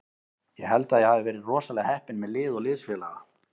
Ég held að ég hafi verið rosalega heppinn með lið og liðsfélaga.